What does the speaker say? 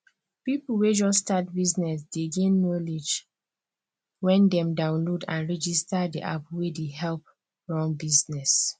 people wey just start business dey gain knowledge when dem download and register the app wey dey help run business